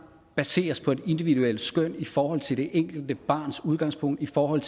baseres på et individuelt skøn i forhold til det enkelte barns udgangspunkt i forhold